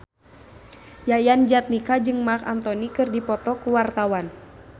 Yayan Jatnika jeung Marc Anthony keur dipoto ku wartawan